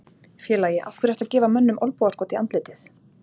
Félagi, af hverju ertu að gefa mönnum olnbogaskot í andlitið?